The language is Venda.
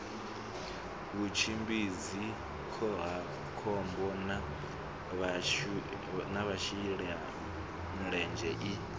vhutshimbidzi khohakhombo na vhashelamulenzhe i